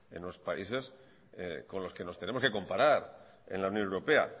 en los países con los que nos tenemos que comparar en la unión europea